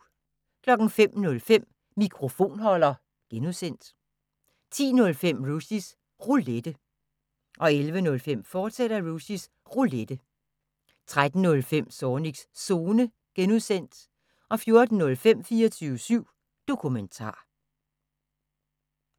05:05: Mikrofonholder (G) 10:05: Rushys Roulette 11:05: Rushys Roulette, fortsat 13:05: Zornigs Zone (G) 14:05: 24syv Dokumentar